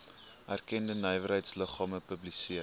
erkende nywerheidsliggame publiseer